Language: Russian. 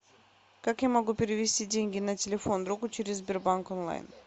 как я могу перевести деньги на телефон другу через сбербанк онлайн